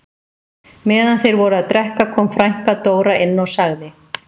Meðan þeir voru að drekka kom frænka Dóra inn og sagði